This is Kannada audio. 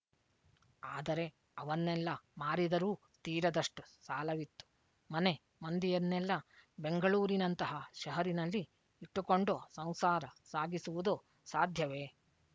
ಅದರೆ ಅವನ್ನೆಲ್ಲ ಮಾರಿದರೂ ತೀರದಷ್ಟು ಸಾಲವಿತ್ತು ಮನೆ ಮಂದಿಯನ್ನೆಲ್ಲ ಬೆಂಗಳೂರಿನಂತಹ ಶಹರಿನಲ್ಲಿ ಇಟ್ಟುಕೊಂಡು ಸಂಸಾರ ಸಾಗಿಸುವುದು ಸಾಧ್ಯವೆ